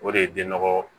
O de ye denɔgɔ